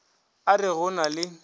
a re go na le